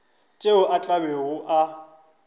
tšeo a tla bego a